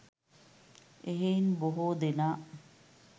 එහෙයින් බොහෝ දෙනා